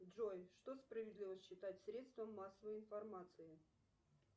джой что справедливо считать средством массовой информации